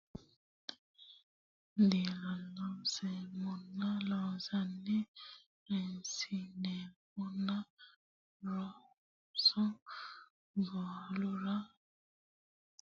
dilooseemmona Loossinanni risiisinoena so barrulla dilooseemmona Loossinanni risiisinoena so barrulla dilooseemmona Loossinanni Loossinanni dilooseemmona barrulla so risiisinoena gotona yiie Rosaanno !